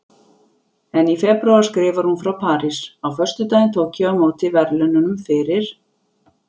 En í febrúar skrifar hún frá París: Á föstudaginn tók ég á móti verðlaununum fyrir